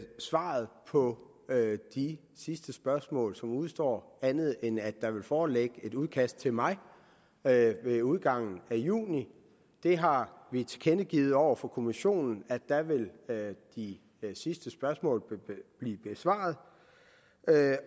svaret på de sidste spørgsmål som udestår andet end at der vil foreligge et udkast til mig ved ved udgangen af juni vi har tilkendegivet over for kommissionen at der vil de sidste spørgsmål blive besvaret